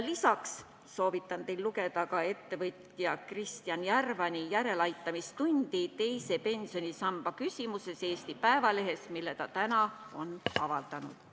Lisaks soovitan kõigil lugeda ka ettevõtja Kristjan Järvani järeleaitamistundi teise pensionsamba küsimuses tänases Eesti Päevalehes.